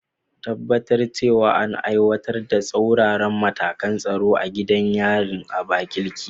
Tabbatar cewa an aiwatar da tsauraran matakan tsaro a gidan yarin Abakaleke.